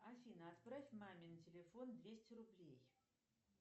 афина отправь маме на телефон двести рублей